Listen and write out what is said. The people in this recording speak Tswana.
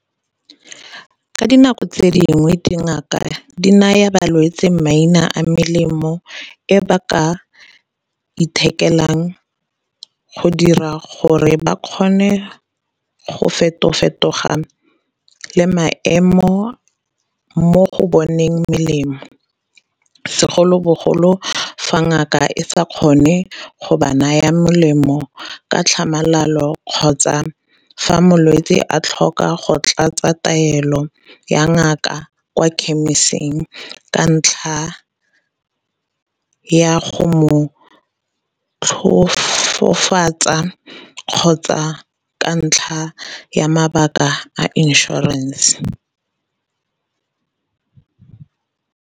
Ka dinako tse dingwe di ngaka di naya balwetse maina a melemo e ba ka ithekeleng go dira gore ba kgone go feto-fetoga le maemo mo go boneng melemo, segolobogolo fa ngaka e sa kgone go ba naya molemo ka tlhamalalo kgotsa fa molwetsi a tlhoka go tlatsa taelo ya ngaka kwa ka ntlha ya go mo tlhofofatsa kgotsa ka ntlha ya mabaka a insurance.